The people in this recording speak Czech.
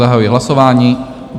Zahajuji hlasování.